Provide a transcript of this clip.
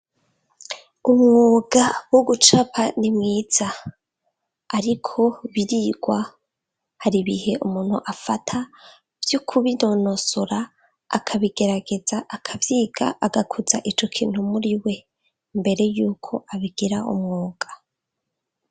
Umwuga wo gucapa ni mwiza, ariko birigwa, har' ibihe umuntu afata vyo kubinonosora akabigerageza akavyiga agakuza ico kintu muriwe imbere yuko abigira umwuga